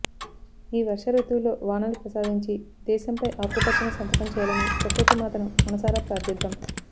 ఈ వర్ష రుతువులో వానలు ప్రసాదించి దేశంపై ఆకుపచ్చని సంతకం చేయాలని ప్రకృతి మాతను మనసారా ప్రార్ధిద్దాం